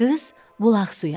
Qız bulaq suyu arzuladı.